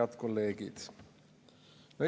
Head kolleegid!